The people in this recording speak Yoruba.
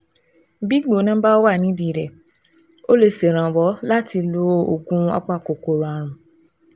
Bí ìgbóná bá ti wà nídìí rẹ̀, ó lè ṣèrànwọ́ láti lo oògùn apakòkòrò ààrùn